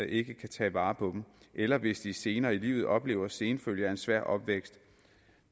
ikke kan tage vare på dem eller hvis de senere i livet oplever senfølger af en svær opvækst